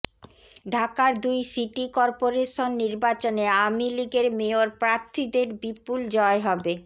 ঢাকার দুই city corporation নির্বাচনে আওয়ামী লীগের মেয়র প্রার্থীদের বিপুল জয় হবে